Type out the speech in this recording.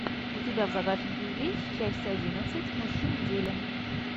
у тебя в загашнике есть часть одиннадцать мужчин в деле